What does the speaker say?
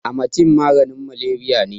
Amatem maganin Malariya ne.